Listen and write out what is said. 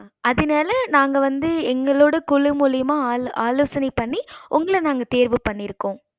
எம்பத்தி நாழு மார்க் வாங்கிருந்த அதுனால நாங்க வந்து எங்களோட குழு மூலையுமா ஆலோசனை பண்ணி உங்கள நாங்க தேர்வு பண்ணிருகோம்